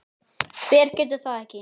Hver getur það ekki?